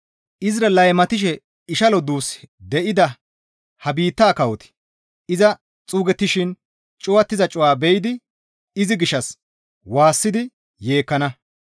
Izira laymatishe ishalo duus de7ida ha biittaa kawoti iza xuugettishin cuwattiza cuwa be7idi izi gishshas waassidi yeekkana.